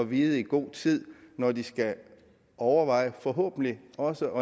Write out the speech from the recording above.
vide i god tid når de skal overveje forhåbentlig også